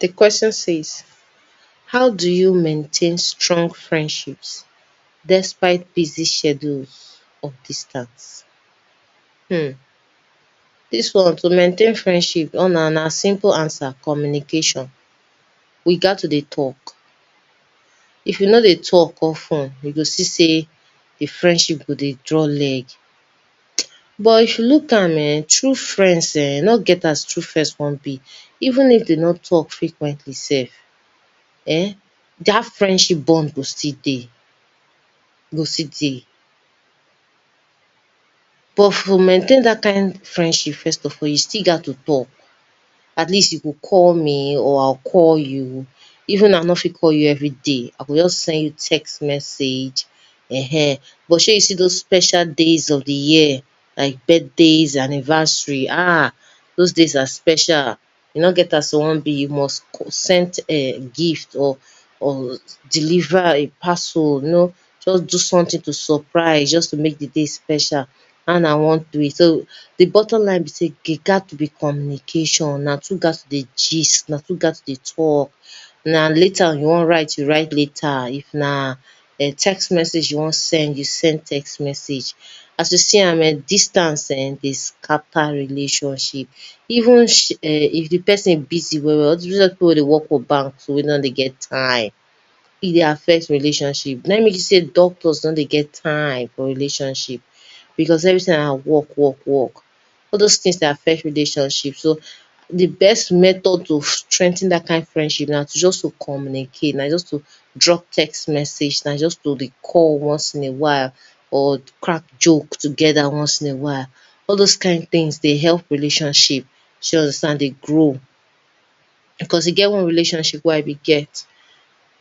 Di question says how do you maintain strong friendship despite busy schedules and distance? Dis one na, to maintain friendship ona simple answer communication we gat to dey talk, if you dey talk of ten you go see sey di friendship go dey draw leg, but if you look am,[um]true friends[um], e no get as true friends wan be even if dem no talk frequently sef[um], dat friendship bond go still dey, e go still dey, but to maintain dat friendship first of all, you sill gat to talk, at least you go call me or I go call you, even if I no fit call you every day I go just send you text message, ehen, but shey you see doz special days of di year, like birthdays, anniversaries ah, doz days are special, e no get as e wan be, you must send a text gift or deliver a parcel you know, just do something to surprise make di day special dat na one way so di bottom line be sey there gats to be communication una two gats to dey gist, una gat to dey talk, if na letter you wan write, you write letter if na text message you wan send, you send text message, as you see am distance[um]dey scatter relationship even if di person busy well well, all doz people wey dey work for bank so wey nor dey get time, e dey affect relationship, na im make you see sey doctors nor dey get time for rela t i o nship because every time na work work work all doz things dey affect relationship so di best method to strengthen dat kind relationship na just to communicate, na just to drop text message, na just to dey call once in a while, or crack joke together once in a while, all doz kind things dey help relationship shey you understand dey grow, because e get one relationship wey I been dey get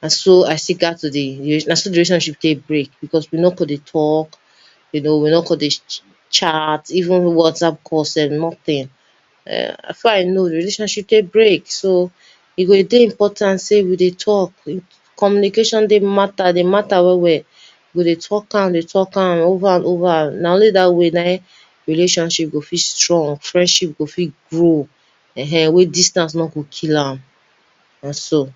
na so dat relationship take break because we no come dey talk, we no come dey chat even whatsapp call sef nothing before I nor relationship take break so e dey important sey we go dey talk, communication dey matter dey matter well well, you go dey talk am, dey talk am over and over and over na only dat way na im relationship go fit strong, friendship go fit grow ehen wey distance no go kill am, na so.